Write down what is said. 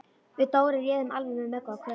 Við Dóri réðum alveg við Möggu og Kötu.